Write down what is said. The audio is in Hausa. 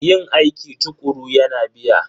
Yin aiki tukuru yana biya.